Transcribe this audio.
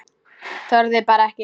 Þorði bara ekki.